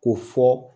K'o fɔ